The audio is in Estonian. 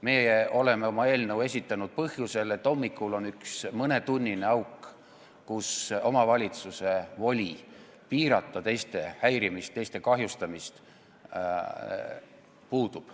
Meie oleme oma eelnõu esitanud põhjusel, et hommikul on üks mõnetunnine auk, kui omavalitsusel puudub voli piirata teiste häirimist, teiste kahjustamist.